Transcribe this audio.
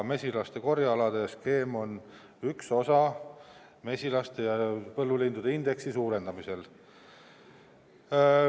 Mesilaste korjealade skeem on üks osa mesilaste, põllulindude indeksi suurendamisel.